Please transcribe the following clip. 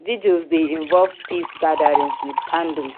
Vigils de involve peace gatherings with candle